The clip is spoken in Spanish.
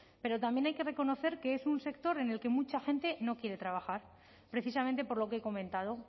pero también hay que reconocer que es un sector en el que mucha gente no quiere trabajar precisamente por lo que he comentado